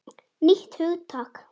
Nýtt hugtak!